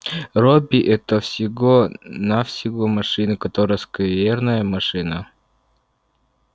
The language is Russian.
робби это всего-навсего машина которая скверная машина